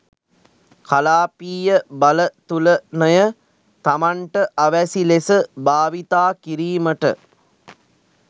කලාපීය බලතුලන‍ය තමන්ට අවැසි ලෙස භාවිතා කිරීමට